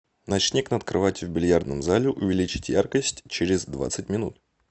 ночник над кроватью в бильярдном зале увеличить яркость через двадцать минут